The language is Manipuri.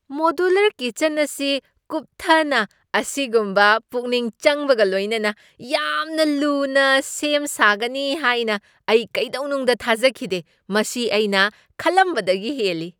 ꯃꯣꯗꯨꯂꯔ ꯀꯤꯆꯟ ꯑꯁꯤ ꯀꯨꯞꯊꯅ ꯑꯁꯤꯒꯨꯝꯕ ꯄꯨꯛꯅꯤꯡ ꯆꯪꯕꯒ ꯂꯣꯏꯅꯅ ꯌꯥꯝꯅ ꯂꯨꯅ ꯁꯦꯝ ꯁꯥꯒꯅꯤ ꯍꯥꯏꯅ ꯑꯩ ꯀꯩꯗꯧꯅꯨꯡꯗ ꯊꯥꯖꯈꯤꯗꯦ ꯫ ꯃꯁꯤ ꯑꯩꯅ ꯈꯜꯂꯝꯕꯗꯒꯤ ꯍꯦꯜꯂꯤ ꯫